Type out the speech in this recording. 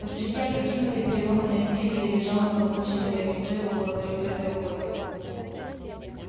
посреди опрокинутой и переломанной мебели лежал на боку человек лицо его было прикрыто рукой